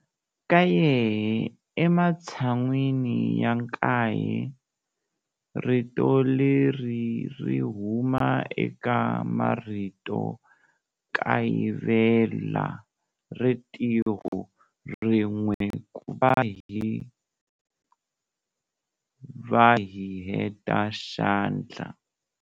Kaye ematshan'wini ya nkaye, rito leri ri huma eka marito kayivela ritiho rin'we ku va hi heta xandla.